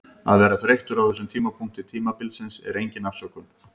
Að vera þreyttur á þessum tímapunkti tímabilsins er engin afsökun.